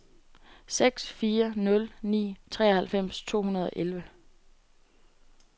seks fire nul ni treoghalvfems to hundrede og elleve